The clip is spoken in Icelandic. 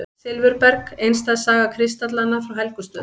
Silfurberg: einstæð saga kristallanna frá Helgustöðum.